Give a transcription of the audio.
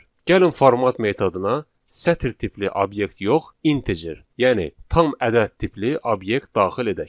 Gəlin format metoduna sətir tipli obyekt yox, integer, yəni tam ədəd tipli obyekt daxil edək.